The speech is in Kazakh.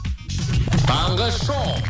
таңғы шоу